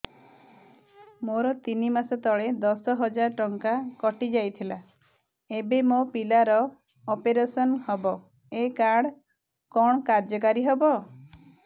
ମୋର ତିନି ମାସ ତଳେ ଦଶ ହଜାର ଟଙ୍କା କଟି ଯାଇଥିଲା ଏବେ ମୋ ପିଲା ର ଅପେରସନ ହବ ଏ କାର୍ଡ କଣ କାର୍ଯ୍ୟ କାରି ହବ